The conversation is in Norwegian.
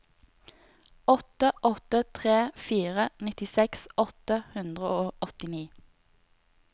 åtte åtte tre fire nittiseks åtte hundre og åttini